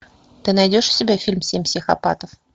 ты найдешь у себя фильм семь психопатов